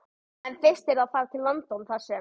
En fyrst yrði farið til London þar sem